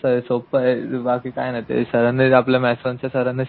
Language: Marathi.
मस्तय सोप्पंय बाकी काही नाही ते सरांनी आपल्या मॅथ्स वन च्या सरांनी